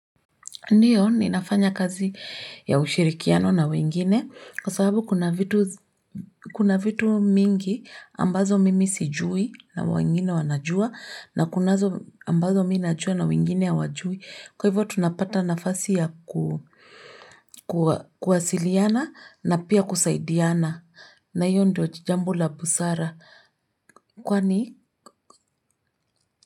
Ndiyo ni nafanya kazi ya ushirikiano na wengine kwa sababu kuna vitu mingi ambazo mimi sijui na wengine wanajua na kunazo ambazo mmi najua na wengine wajui. Kwa hivyo tunapata nafasi ya kuwasiliana na pia kusaidiana na hiyo ndio jambo la pusara.